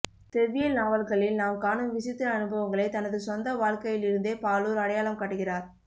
செவ்வியல் நாவல்களில் நாம் காணும் விசித்திர அனுபவங்களைத் தனது சொந்த வாழ்க்கையிலிருந்தே பாலூர் அடையாளம் காட்டுகிறார்